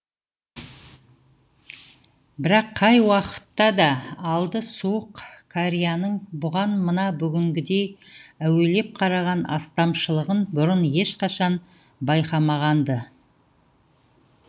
бірақ қай уақытта да алды суық кәрияның бұған мына бүгінгідей әуелеп қараған астамшылығын бұрын ешқашан байқамаған ды